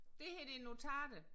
Det her det notater